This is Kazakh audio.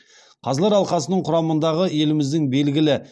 қазылар алқасының құрамындағы еліміздің белгілі